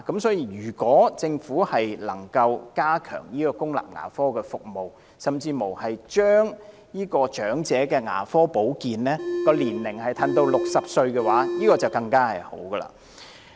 所以，如果政府能加強公立牙科服務，甚至把長者牙科保健服務的合資格年齡降至60歲就更好。